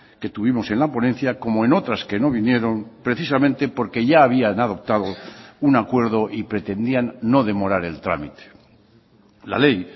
que tuvimos en la ponencia como en otras que no vinieron precisamente porque ya habían adoptado un acuerdo y pretendían no demorar el trámite la ley